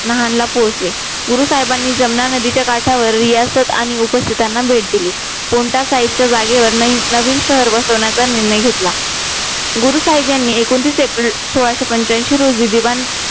नहानला पोचले गुरु साहेबांनी जमना नदीच्या काठावर रियासत आणि उपस्तीथना भेट दिली कोणत्या जागेवरणी नवीन शहर बसवण्याचा निर्णय घेतला गुरु साहेब यांनी एकोणतीस एप्रिल सोळाशे पंच्यांशी रोजी जिवंत